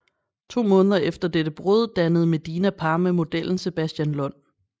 To måneder efter dette brud dannede Medina par med modellen Sebastian Lund